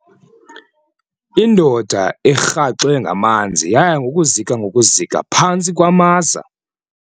Indoda erhaxwe ngamanzi yaya ngokuzika ngokuzika phantsi kwamaza.